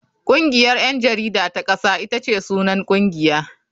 Kungiyar 'yan jarida ta kasa ita ce sunan kungiya.